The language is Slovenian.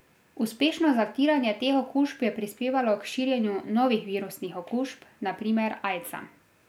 Uspešno zatiranje teh okužb je prispevalo k širjenju novih virusnih okužb, na primer aidsa.